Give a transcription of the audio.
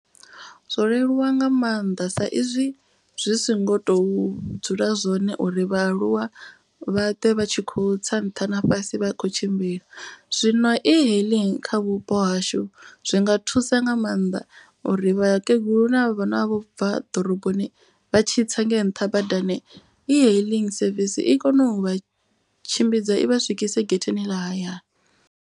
Zwo leluwa nga maanḓa sa izwi zwi so ngo to dzula zwone uri vhaaluwa vha ṱwe vha tshi kho tsa nṱha na fhasi vha khou tshimbila. Zwino e hailing kha vhupo hashu zwinga thusa nga maanḓa. U ri vhakegulu na vhana vho bva ḓoroboni vha tshi tsa ngei nṱha badani. E hailing service i kone u vha tshimbidza i vha swikise getheni ḽa hayani.